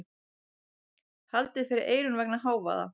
Haldið fyrir eyrun vegna hávaða.